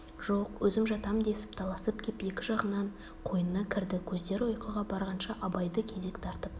жоқ өзім жатам десіп таласып кеп екі жағынан қойнына кірді көздері ұйқыға барғанша абайды кезек тартып